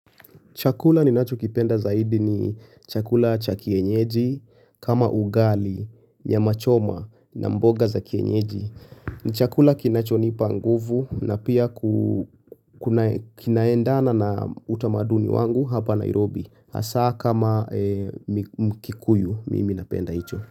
Chakula ninacho kipenda zaidi ni chakula cha kienyeji, kama ugali, nyama choma, na mboga za kienyeji. Ni chakula kinachonipa nguvu na pia kinaendana na utamaduni wangu hapa Nairobi. Asa kama mkikuyu mimi napenda hicho.